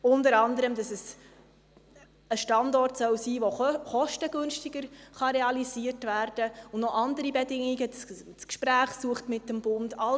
Unter anderem, dass es ein Standort sein soll, der kostengünstiger realisiert werden kann und weitere Bedingungen, etwa, dass man mit dem Bund das Gespräch suchen soll.